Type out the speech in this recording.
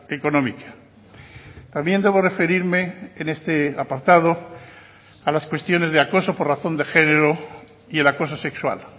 económica también debo referirme en este apartado a las cuestiones de acoso por razón de género y el acoso sexual